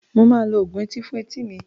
Mo máa lo oògùn etí fún etí mi.